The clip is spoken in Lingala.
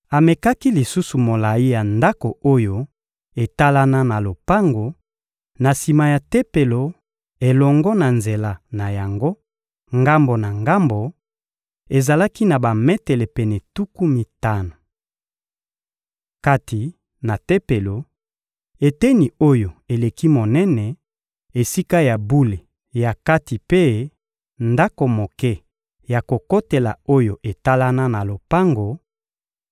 Amekaki lisusu molayi ya ndako oyo etalana na lopango, na sima ya Tempelo elongo na nzela na yango ngambo na ngambo: ezalaki na bametele pene tuku mitano. Kati na Tempelo, eteni oyo eleki monene, Esika ya bule ya kati mpe ndako moke ya kokotela oyo etalana na lopango,